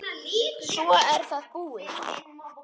Svo er það búið.